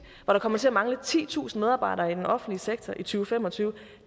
hvor der kommer til at mangle titusind medarbejdere i den offentlige sektor i to fem og tyve det